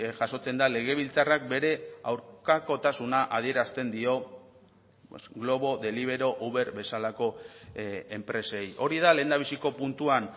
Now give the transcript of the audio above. jasotzen da legebiltzarrak bere aurkakotasuna adierazten dio glovo deliveroo uber bezalako enpresei hori da lehendabiziko puntuan